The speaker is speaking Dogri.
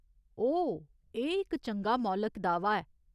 ओह्, एह् इक चंगा मौलक दाह्‌वा ऐ।